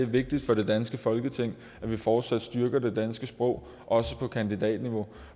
vigtigt for det danske folketing at vi fortsat styrker det danske sprog også på kandidatniveau